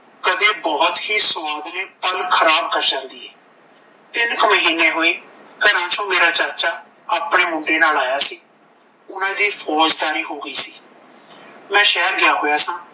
ਬਹੁਤ ਹੀ ਸਵਾਦਲੇ ਪਲ ਖਰਾਬ ਕਰ ਜਾਂਦੀ ਏ ਤਿੰਨ ਕ ਮਹੀਨੇ ਹੋਏ ਘਰਾਂ ਚੋਂ ਮੇਰਾ ਚਾਚਾ ਆਪਣੇ ਮੁੰਡੇ ਨਾਲ ਆਇਆ ਸੀ ਓਹਨਾਂ ਦੀ ਫੌਜਦਾਰੀ ਹੋ ਗਈ ਸੀ ਮੈਂ ਸ਼ਹਿਰ ਗਿਆ ਹੋਆ ਸਾਂ